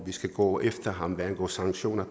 vi skal gå efter ham hvad angår sanktioner